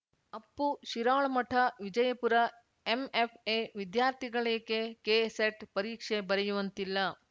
Appu Shirolamath Vijayapura MFA ವಿದ್ಯಾರ್ಥಿಗಳೇಕೆ KSET ಪರೀಕ್ಷೆ ಬರೆಯುವಂತಿಲ್ಲ